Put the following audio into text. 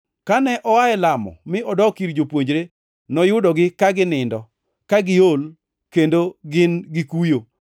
Kane oa e lamo mi odok ir jopuonjre, noyudogi ka ginindo, ka giol kendo ka gin gikuyo.